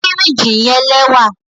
Firiji jẹ lẹwa